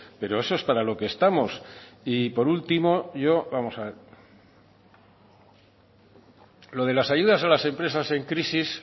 pero eso es para lo que estamos y por último yo vamos a ver lo de las ayudas a las empresas en crisis